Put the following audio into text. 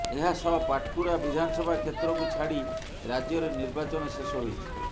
ଏହାସହ ପାଟକୁରା ବିଧାନସଭା କ୍ଷେତ୍ରକୁ ଛାଡି ରାଜ୍ୟରେ ନିର୍ବାଚନ ଶେଷ ହୋଇଛି